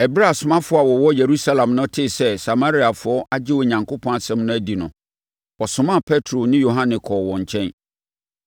Ɛberɛ a asomafoɔ a wɔwɔ Yerusalem no tee sɛ Samariafoɔ agye Onyankopɔn asɛm no adi no, wɔsomaa Petro ne Yohane kɔɔ wɔn nkyɛn.